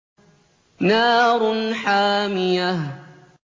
نَارٌ حَامِيَةٌ